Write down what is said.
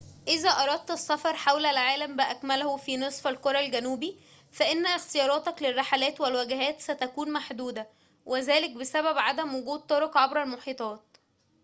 إذا أردت السفر حول العالم بأكمله في نصف الكرة الجنوبي فإن اختياراتك للرحلات والوجهات ستكون محدودة وذلك بسبب عدم وجود طرق عبر المحيطات